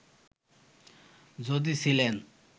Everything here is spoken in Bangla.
যদি ছিলেন